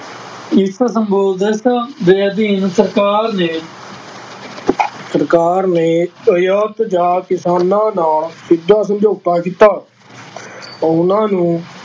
ਇਸ ਦੇ ਅਧੀਨ ਸਰਕਾਰ ਨੇ ਸਰਕਾਰ ਨੇ ਜਾਂ ਕਿਸਾਨਾਂ ਨਾਲ ਸਿੱਧਾ ਸਮਝੋਤਾ ਕੀਤਾ ਉਹਨਾਂ ਨੂੰ